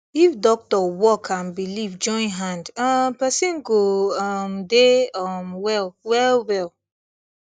if doctor work and belief join hand um person go um dey um well wellwell